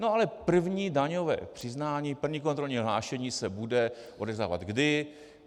No ale první daňové přiznání, první kontrolní hlášení se bude odevzdávat kdy?